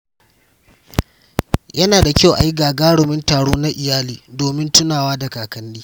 Yana da kyau a yi gagarumin taro na iyali domin tunawa da kakanni.